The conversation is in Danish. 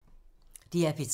DR P3